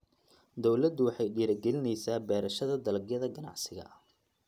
Dawladdu waxay dhiirigelinaysaa beerashada dalagyada ganacsiga.